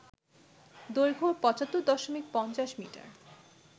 দৈর্ঘ্য ৭৫ দশমিক ৫০ মিটার